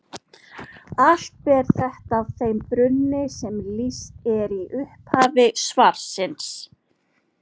Allt ber þetta að þeim brunni sem lýst er í upphafi svarsins.